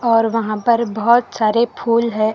और वहां पर बहोत सारे फूल हैं।